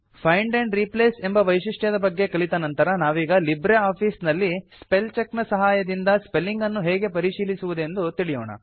find and replace ಎಂಬ ವೈಶಿಷ್ಟ್ಯದ ಬಗ್ಗೆ ಕಲಿತ ನಂತರ ನಾವೀಗ ಲಿಬ್ರೆ ಆಫೀಸ್ ನಲ್ಲಿ ಸ್ಪೆಲ್ಚೆಕ್ ನ ಸಹಾಯದಿಂದ ಸ್ಪೆಲ್ಲಿಂಗ್ ಅನ್ನು ಹೇಗೆ ಪರಿಶೀಲಿಸುವುದೆಂದು ತಿಳಿಯೋಣ